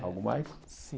Algo mais?